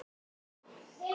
Yfir hrönn og skafl!